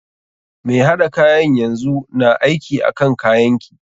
Mai haɗa kayan yanzu na aiki akan kayan ki.